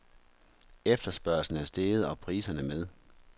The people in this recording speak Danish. Efterspørgslen er steget og priserne med.